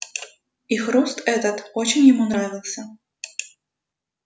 и хруст этот очень ему нравился